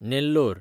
Nellore